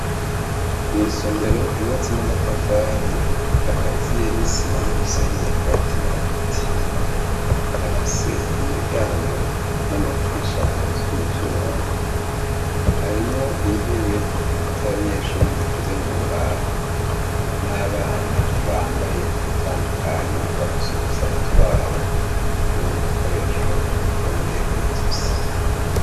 Mw'isomero ryubatswe n'amatafari akaziye n'umusenyi hagati na hagati bafise umuryango n'amadirisha bikozwe muvyuma. Harimwo intebe z'abanyeshuri zikozwe mumbaho n'abana bambaye ugutandukanye bafise udusaho twabo turimwo udukoresho dufungiye kw'izosi.